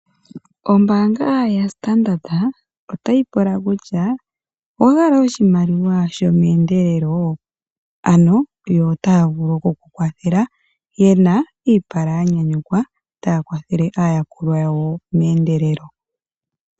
Ombaanga yaStandard otayi pula kutya owa hala oshimaliwa shomeendelelo ? Ano yo ota ya vulu oku kukwathela yena iipala ya nyanyukwa ta ya kwathele aayakulwa yawo meendelelo.